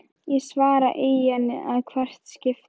Ég svara í ann að hvert skipti.